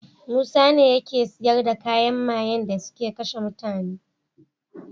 Musa ne yake siyar da kayan mayen dasuke kashe mutane